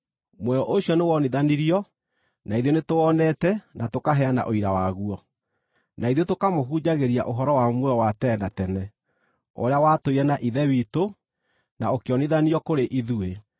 Muoyo ũcio nĩwonithanirio; na ithuĩ nĩtũwonete na tũkaheana ũira waguo, na ithuĩ tũkamũhunjagĩria ũhoro wa muoyo wa tene na tene, ũrĩa watũire na Ithe witũ, na ũkĩonithanio kũrĩ ithuĩ.